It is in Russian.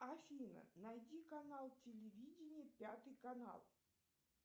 афина найди канал телевидения пятый канал